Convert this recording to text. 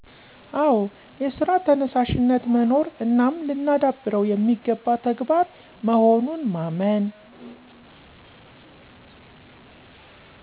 አዉ የስራ ተነሳሽነት መኖር እናም ልናዳብረዉ የሚገባ ተግባር መሆኑን ማመን።